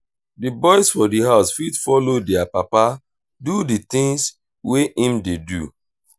di boys for di house fit follow their papa do di things wey im dey do